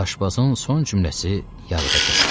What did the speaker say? Aşbazın son cümləsi yarıda kəsildi.